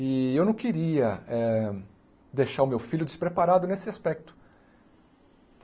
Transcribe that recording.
E eu não queria eh deixar o meu filho despreparado nesse aspecto.